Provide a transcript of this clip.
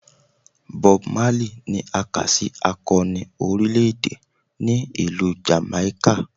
Bob Marley ni a ka si akọni orilẹ-ede ni Ilu Jamaica.